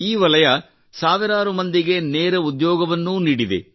ಈ ವಲಯವು ಸಾವಿರಾರು ಮಂದಿಗೆ ನೇರ ಉದ್ಯೋಗವನ್ನೂ ನೀಡಿದೆ